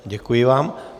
Děkuji vám.